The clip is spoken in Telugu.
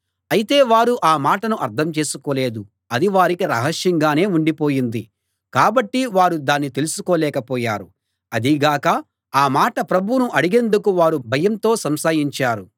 అయితే వారు ఆ మాటను అర్థం చేసుకోలేదు అది వారికి రహస్యంగానే ఉండిపోయింది కాబట్టి వారు దాన్ని తెలుసుకోలేక పోయారు అదీగాక ఆ మాట ప్రభువును అడిగేందుకు వారు భయంతో సంశయించారు